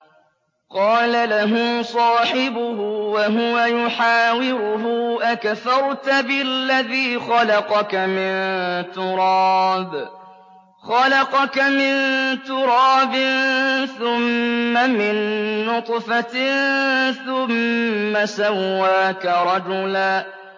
قَالَ لَهُ صَاحِبُهُ وَهُوَ يُحَاوِرُهُ أَكَفَرْتَ بِالَّذِي خَلَقَكَ مِن تُرَابٍ ثُمَّ مِن نُّطْفَةٍ ثُمَّ سَوَّاكَ رَجُلًا